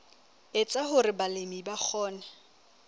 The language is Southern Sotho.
etsa hore balemi ba kgone